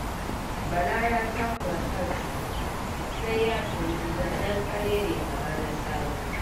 Bala ya takura kansa sai ya sayi gida danƙarere kamar na Sabo